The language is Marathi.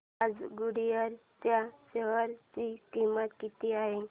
आज गुडइयर च्या शेअर ची किंमत किती आहे